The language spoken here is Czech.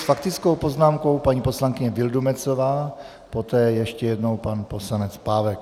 S faktickou poznámkou paní poslankyně Vildumetzová, poté ještě jednou pan poslanec Pávek.